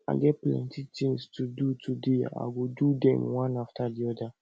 i get plenty tins to do today i go do dem one afta di oda